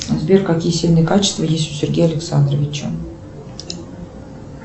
сбер какие сильные качества есть у сергея александровича